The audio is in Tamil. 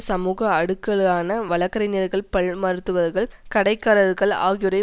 சமூக அடுக்குகளான வழக்கறிஞர்கள் பல் மருத்துவர்கள் கடைக்காரர்கள் ஆகியோரை